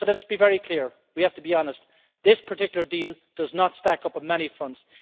So let's be very clear we have to be honest this particular deal does not stack up on many fronts.